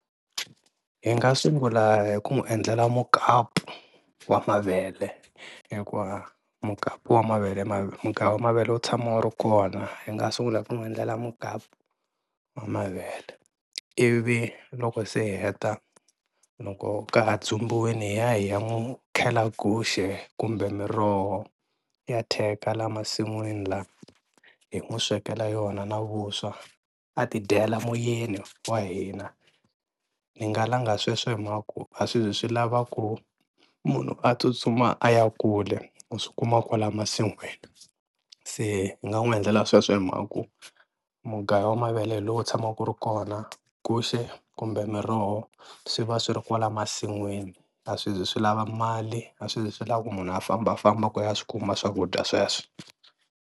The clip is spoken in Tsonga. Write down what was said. Hi nga sungula hi ku n'wi endlela mukapu wa mavele hikuva mukapu wa mavele mugayo wa mavele wu tshama wu ri kona, hi nga sungula ku n'wi endlela mukapu wa mavele ivi loko se hi heta loko ka ha dzumbiwile, hi ya hi ya n'wi khela guxe kumbe miroho ya theka la masin'wini la hi n'wi swekela yona na vuswa a ti dyela moyeni wa hina, ni nga langa sweswo hi mhaka ya ku a swi zi swi lava ku munhu a tsutsuma a ya kule u swi kuma kwala masinwini, se ni nga n'wi endlela sweswo hi mhaka ku mugayo wa mavele hi lowu tshamaka wu ri kona, guxe kumbe miroho swi va swi ri kwala masinwini a swi zi swi lava mali a swi zi swi lava ku munhu a fambafamba ku a ya swi kuma swakudya sweswo.